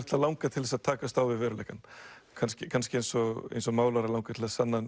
alltaf langað til að takast á við veruleikann kannski kannski eins og eins og konseptlistamann langar til að sanna